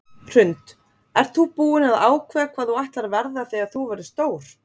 Hrund: Ert þú búin að ákveða hvað þú ætlar að verða þegar þú verður stór?